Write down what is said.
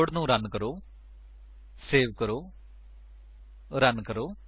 code ਨੂੰ run ਕਰੋ save ਕਰੋ ਰਣ ਕਰੋ